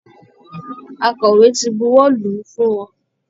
Akọ̀wé ti buwọ́ lù ú fún wọn